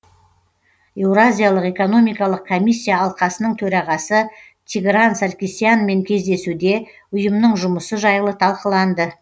еуразиялық экономикалық комиссия алқасының төрағасы тигран саркисянмен кездесуде ұйымның жұмысы жайлы талқыланды